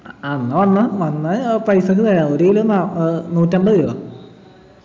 ആ എന്ന വന്നോ വന്നാ ഞാൻ പൈസക്ക് തരാം ഒരു kilo നാ ഏർ നൂറ്റമ്പത് രൂപ